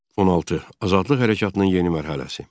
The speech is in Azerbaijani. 16. Azadlıq hərəkatının yeni mərhələsi.